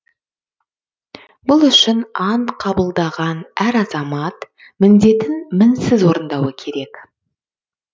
бұл үшін ант қабылдаған әр азамат міндетін мінсіз орындауы керек